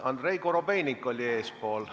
Andrei Korobeinik oli eespool.